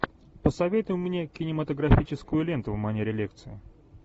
посоветуй мне кинематографическую ленту в манере лекция